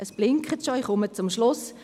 Es blinkt schon, ich komme zum Schluss: